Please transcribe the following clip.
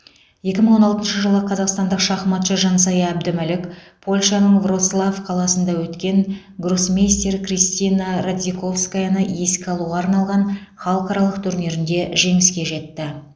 екі мың он алтыншы жылы қазақстандық шахматшы жансая әбдімәлік польшаның вроцлав қаласында өткен гроссмейстер кристина радзиковскаяны еске алуға арналған халықаралық турнирінде жеңіске жетті